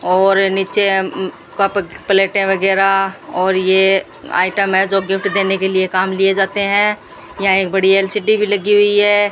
और नीचे कप प्लेटें वगैरा और ये आइटम है जो गिफ्ट देने के लिए काम लिए जाते हैं यहां एक बड़ी एल_सी_डी भी लगी हुई है।